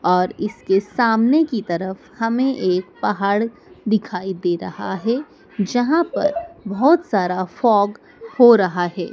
और इसके सामने की तरफ हमें एक पहाड़ दिखाई दे रहा है जहां पर बहोत सारा फॉग हो रहा हैं।